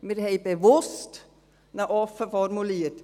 Wir haben ihn bewusst offen formuliert.